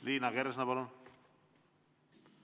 Liina Kersna, palun!